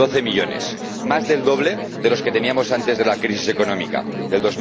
Doce millones, más del doble de los que teníamos antes de la crisis económica de